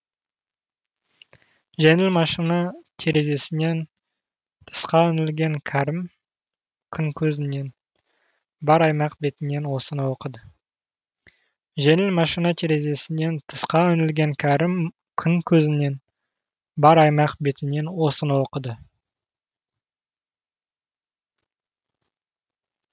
жеңіл машина терезесінен тысқа үңілген кәрім күн көзінен бар аймақ бетінен осыны оқыды